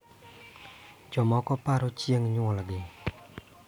Jomoko paro chieng� nyuolgi